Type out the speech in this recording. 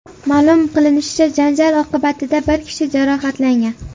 Ma’lum qilinishicha, janjal oqibatida bir kishi jarohatlangan.